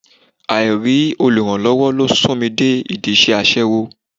Àì rí olùrànlọ́wọ́ lọ sún mi dé ìdí iṣẹ́ aṣẹ́wó